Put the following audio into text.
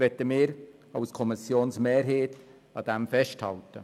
Deshalb möchte die Kommissionsmehrheit daran festhalten.